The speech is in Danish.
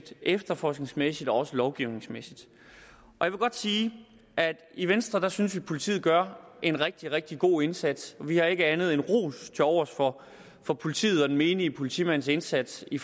efterforskningsmæssigt og også lovgivningsmæssigt jeg vil godt sige at i venstre synes vi at politiet gør en rigtig rigtig god indsats vi har ikke andet end ros til overs for for politiets og den menige politimands indsats i